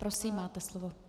Prosím, máte slovo.